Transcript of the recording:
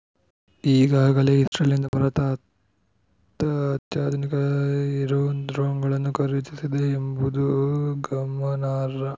ಈಗಾಗಲೇ ಇಸ್ರೇಲ್‌ನಿಂದ ಭಾರತ ಹತ್ತು ಅತ್ಯಾಧುನಿಕ ಹಿರೋನ್‌ ಡ್ರೋನ್‌ಗಳನ್ನು ಖರೀದಿಸಿದೆ ಎಂಬುದು ಗಮನಾರ್ಹ